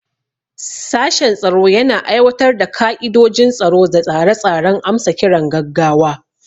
Sashen tsaro yana aiwatar da ka'idojin tsaro da tsare-tsaren amsa kiran gaggawa.